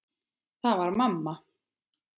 Það var mamma.